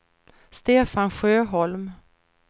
Stefan Sjöholm